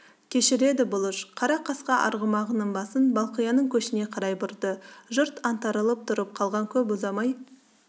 кешіреді бұлыш қара қасқа арғымағының басын балқияның көшіне қарай бұрды жұрт аңтарылып тұрып қалған көп ұзамай